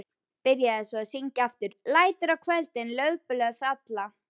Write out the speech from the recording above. Byrjaði svo að syngja aftur: LÆTUR Á KVÖLDIN LAUFBLÖÐ FALLA.